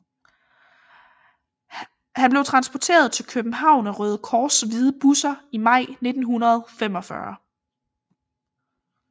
Han blev transporteret til København af Røde Kors hvide busser i maj 1945